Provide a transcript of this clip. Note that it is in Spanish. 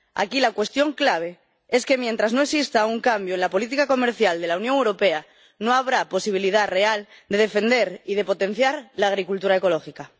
Aquí la cuestión clave es que, mientras no exista un cambio en la política comercial de la Unión Europea, no habrá posibilidad real de defender y de potenciar la agricultura ecológica.